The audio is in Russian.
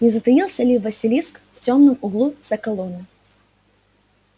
не затаился ли василиск в тёмном углу за колонной